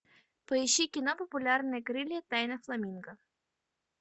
поищи кино популярные крылья тайна фламинго